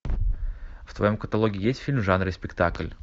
в твоем каталоге есть фильм в жанре спектакль